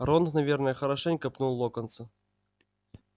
рон наверное хорошенько пнул локонса